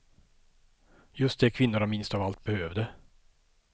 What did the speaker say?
Just det kvinnorna minst av allt behövde.